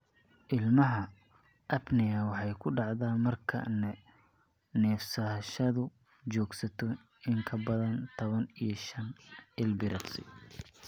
Ilmaha, apnea waxay ku dhacdaa marka neefsashadu joogsato in ka badan tawan iyo shaan ilbiriqsi.